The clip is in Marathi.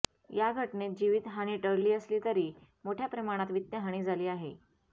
या घटनेत जीवित हानी टळली असली तरी मोठ्या प्रमाणात वित्त हानी झाली आहे